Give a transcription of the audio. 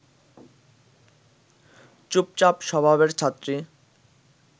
চুপচাপ স্বভাবের ছাত্রী